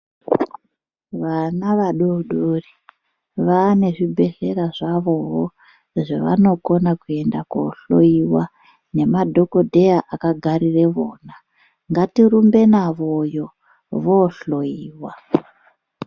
Vana vadodori vaane zvibhedhlera zvavoo zvavanokona kuenda kohloyiwa ngemadhokodheya vakagarire vona ngatirumbe navoyo vohloyiwa.